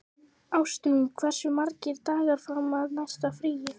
Ástrún, hversu margir dagar fram að næsta fríi?